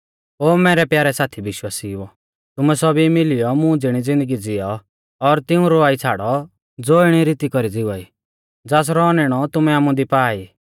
ओ मैरै प्यारै साथी विश्वासिउओ तुमै सौभी मिलियौ मुं ज़िणी ज़िन्दगी ज़िऔ और तिऊं रवाई छ़ाड़ौ ज़ो इणै रीती कौरी ज़िवा ई ज़ासरौ औनैणौ तुमै आमुदी पा ई